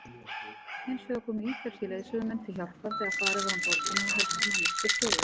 Hinsvegar komu ítalskir leiðsögumenn til hjálpar þegar farið var um borgina og helstu mannvirki skoðuð.